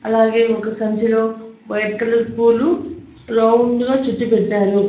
అలాగే ఒక సంచిలో వైట్ కలర్ పూలు రౌండ్ గా చుట్టి పెట్టారు.